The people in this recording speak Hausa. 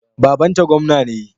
Babanta gwamna ne.